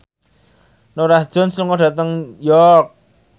Norah Jones lunga dhateng York